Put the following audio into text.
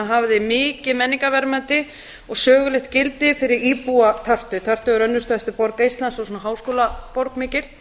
hafði mikið menningarverðmæti og sögulegt gildi fyrir íbúa tartu tartu er önnur stærsta borg eistlands og svona háskólaborg mikil